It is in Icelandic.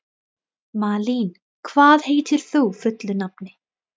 Malín, hvað heitir þú fullu nafni?